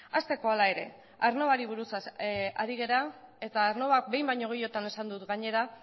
hasteko hala ere aernnovari buruz ari gara eta aernnovak behin baino gehiagotan esan dut gainera